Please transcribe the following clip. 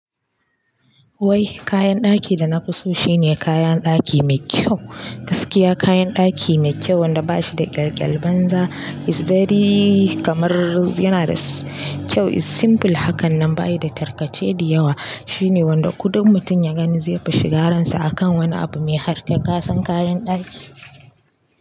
Wai kayan ɗaki da na fi so shine kayan ɗaki mai kyau. Gaskiya kayan ɗaki mai kyau wanda bashi da ƙyalƙyal banza is very kamar yana da kyau is simple hakanan bayi da tarkace diyawa. Shine wanda kuɗin mutum ya gani zai fi shigaransa akan wani abu mai harkar kasan kayan ɗaki.